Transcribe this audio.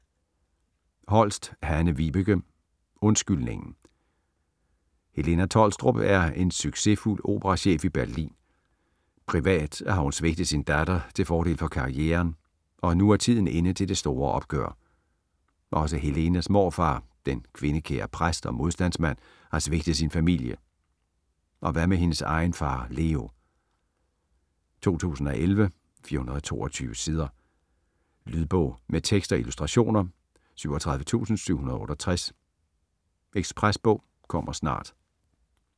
Holst, Hanne-Vibeke: Undskyldningen Helena Tholstrup er en succesfuld operachef i Berlin. Privat har hun svigtet sin datter til fordel for karrieren, og nu er tiden inde til det store opgør. Også Helenas morfar, den kvindekære præst og modstandsmand, har svigtet sin familie, og hvad med hendes egen far Leo? 2011, 422 sider. Lydbog med tekst og illustrationer 37768 Ekspresbog - kommer snart